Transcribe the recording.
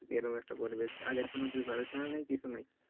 এই রকম একটা পরিবেশ আগের কোনও preparation ও নাই নাই কিছু নাই,